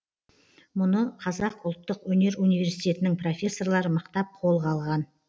мұны қазақ ұлттық өнер университетенің профессорлары мықтап қолға алған